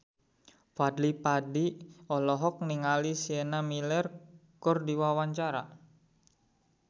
Fadly Padi olohok ningali Sienna Miller keur diwawancara